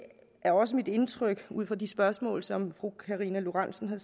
er det også mit indtryk ud fra de spørgsmål som fru karina lorentzen